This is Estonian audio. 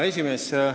Hea esimees!